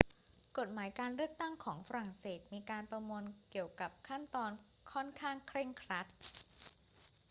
กฎหมายการเลือกตั้งของฝรั่งเศสมีการประมวลเกี่ยวกับขั้นตอนค่อนข้างเคร่งครัด